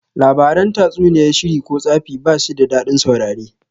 Labaran tatsuniyar sihiri ko tsafi bashi da dadin saurare